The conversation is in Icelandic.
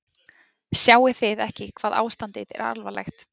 Sjáið þið ekki hvað ástandið er alvarlegt.